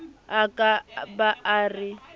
a ka ba a re